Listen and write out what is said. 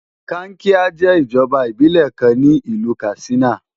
Kankia jẹ́ ìjọba ìbílẹ̀ kan ní ìlú Katsina.